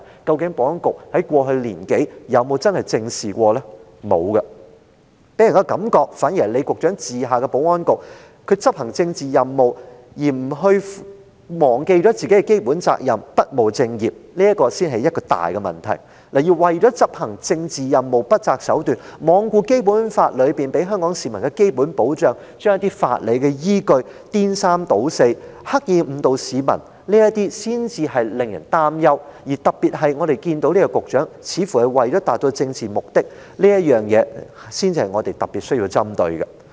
是沒有的，反而予人的感覺是，在李局長治下的保安局，為了執行政治任務而忘了自己的基本責任，不務正業，這才是一大問題；為了執行政治任務，不擇手段，罔顧《基本法》給予香港市民的基本保障，把法理依據顛三倒四，刻意誤導市民，這才是令人擔憂的問題；特別是我們看到這位局長做出的種種，似乎是為了要達到一些政治目的，這才是我們特別需要針對的。